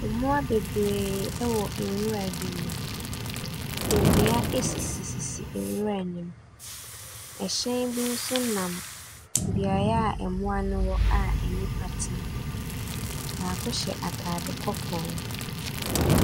Mmoa bebree wɔ nwura bi mu. Nnua sisisisi nwura no mu. Ɛhyɛn bi nso nam beaeɛ a mmoa no wɔ a nnipa te mu. Baako hyɛ atade kɔkɔɔ.